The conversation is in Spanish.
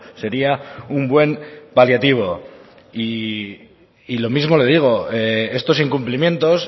sería un buen paliativo y lo mismo le digo estos incumplimientos